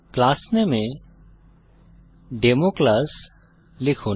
class নামে a demo class লিখুন